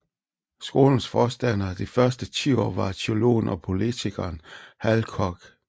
Skolens forstander de første ti år var teologen og politikeren Hal Koch